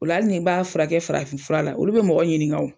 O la hali ni n b'a furakɛ farafin fura la olu be mɔgɔ ɲiniŋa o.